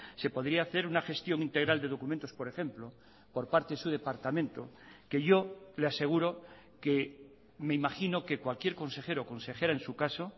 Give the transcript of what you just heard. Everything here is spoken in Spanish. se podría hacer una gestión integral de documentos por ejemplo por parte de su departamento que yo le aseguro que me imagino que cualquier consejero o consejera en su caso